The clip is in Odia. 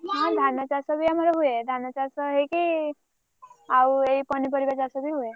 ହଁ ଧାନଚାଷ ବି ଆମର ହୁଏ ଧାନ ଚାଷ ହେଇକି ଆଉ ଏଇ ପନିପରିବା ଚାଷ ବି ହୁଏ।